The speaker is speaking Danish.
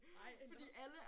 Ej nåh